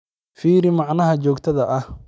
fiiri macnaha joogtada ah